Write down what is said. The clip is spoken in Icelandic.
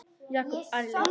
Jakob ærlegur